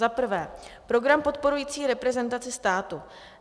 Za prvé, program podporující reprezentaci státu.